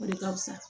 O de ka fisa